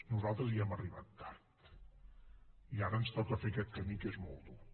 nosaltres hi hem arribat tard i ara ens toca fer aquest camí que és molt dur